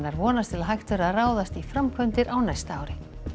vonast til hægt verði að ráðast í framkvæmdir á næsta ári